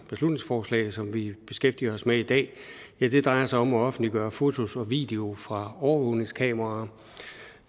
beslutningsforslag som vi beskæftiger os med i dag drejer sig om at offentliggøre fotos og videoer fra overvågningskameraer